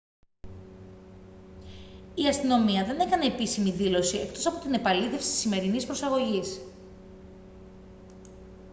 η αστυνομία δεν έκανε επίσημη δήλωση εκτός από την επαλήθευση της σημερινής προσαγωγής